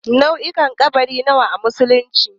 Nau'ukan ƙabari nawa a musulunci?